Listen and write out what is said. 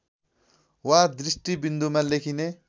वा दृष्टिबिन्दुमा लेखिने